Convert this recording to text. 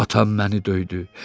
Atam məni döydü.